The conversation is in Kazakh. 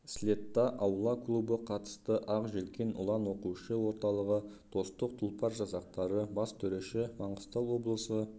слетта аула клубы қатысты ақ желкен ұлан оқушы орталығы достық тұлпар жасақтары бас төреші маңғыстау облысы